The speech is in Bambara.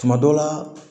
Tuma dɔ la